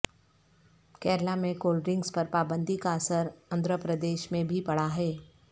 کیرالہ میں cold drinks پر پابندی کا اثر اندھرا پردیش میں بھی پڑا ہے